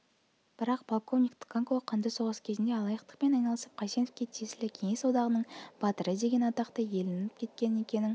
бірақ полковник тканко қанды соғыс кезінде алаяқтықпен айналысып қайсеновке тиесілі кеңес одағының батыры деген атақты иеленіп кеткенін екінің